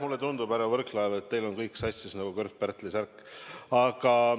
Mulle tundub, härra Võrklaev, et teil on kõik sassis nagu Kört-Pärtli särk.